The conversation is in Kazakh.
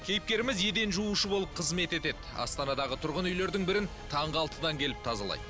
кейіпкеріміз еден жуушы болып қызмет етеді астанадағы тұрғын үйлердің бірін таңғы алтыдан келіп тазалайды